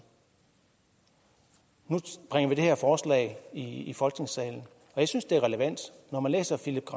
nu bringer vi det her forslag i folketingssalen og jeg synes det er relevant når man læser philippe